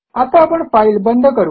आता आपण फाईल बंद करू